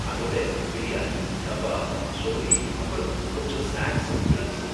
அதோட பிரியாணி, கபாப், சோலே, அப்புறம் கொஞ்சம் ஸ்நாக்ஸும் ட்ரிங்க்ஸும்.